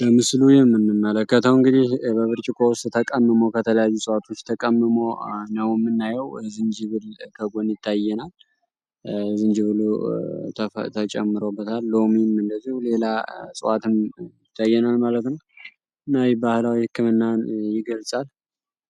በምስሉ የምንመለከተው እንግዲህ በብርጭቆ ውስጥ ተቀምሞ ከተለያዩ እፅዋቶች ተቀምሞ ነው ምናየው። ዝንጅብል ከጎን ይታየናል። ዝንጅብሉ ተጨምሮበታል፤ ሎሚም እንደዚሁ ሌላ እጽዋትም ይታየናል ማለት ነው። ይህ ባህላዊ ህክምናን ይገልጻል።